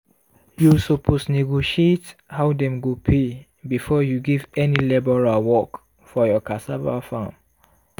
you suppose negotiate how dem go pay before you give any labourer work for your cassava farm.